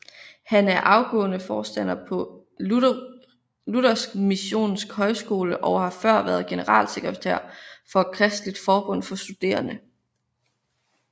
Han er afgående forstander på Luthersk Missionsk Højskole og har før været generalsekretær for Kristeligt Forbund for Studerende